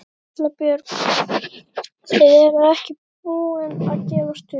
Erla Björg: Þið eruð ekki búin að gefast upp?